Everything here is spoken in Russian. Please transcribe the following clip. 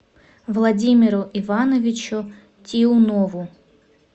владимиру ивановичу тиунову